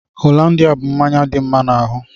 Hollandia bú mmanya dị mma n'ahụ.